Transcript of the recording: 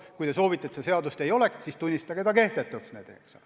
Kui te soovite, et seda seadust ei oleks, siis tunnistage see kehtetuks.